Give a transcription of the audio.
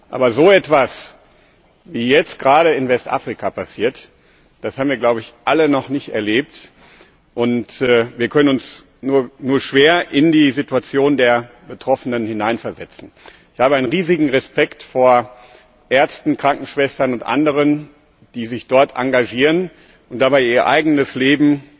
Aber so etwas, wie es jetzt gerade in Westafrika passiert, das haben wir, glaube ich, alle noch nicht erlebt, und wir können uns nur schwer in die Situation der Betroffenen hineinversetzen. Ich habe riesigen Respekt vor Ärzten, Krankenschwestern und anderen, die sich dort engagieren und dabei ihr eigenes Leben